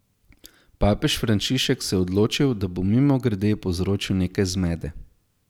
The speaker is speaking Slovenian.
Papež Frančišek se je odločil, da bo mimogrede povzročil nekaj zmede.